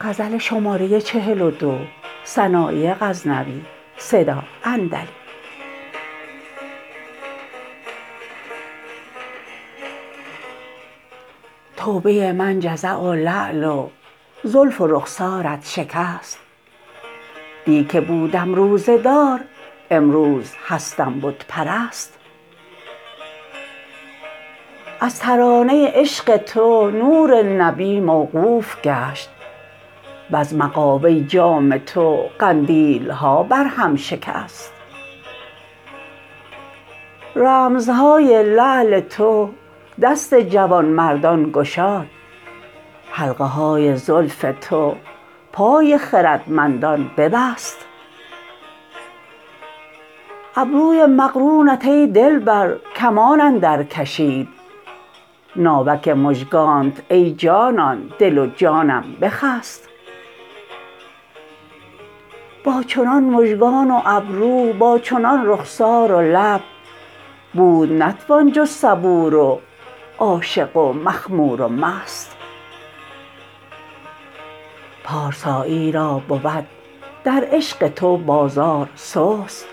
توبه من جزع و لعل و زلف و رخسارت شکست دی که بودم روزه دار امروز هستم بت پرست از ترانه عشق تو نور نبی موقوف گشت وز مغابه جام تو قندیلها بر هم شکست رمزهای لعل تو دست جوانمردان گشاد حلقه های زلف تو پای خردمندان ببست ابروی مقرونت ای دلبر کمان اندر کشید ناوک مژگانت ای جانان دل و جانم بخست با چنان مژگان و ابرو با چنان رخسار و لب بود نتوان جز صبور و عاشق و مخمور و مست پارسایی را بود در عشق تو بازار سست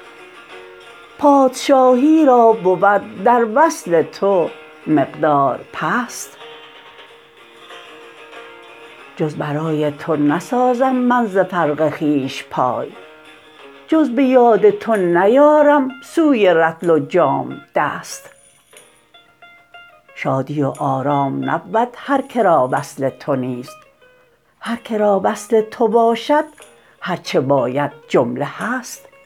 پادشاهی را بود در وصل تو مقدار پست جز برای تو نسازم من ز فرق خویش پای جز به یاد تو نیارم سوی رطل و جام دست شادی و آرام نبود هر کرا وصل تو نیست هر کرا وصل تو باشد هر چه باید جمله هست